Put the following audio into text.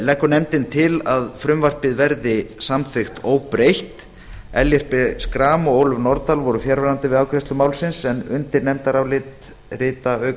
leggur nefndin til að frumvarpið verði samþykkt óbreytt ellert b schram og ólöf nordal voru fjarverandi við afgreiðslu málsins undir nefndarálitið rita auk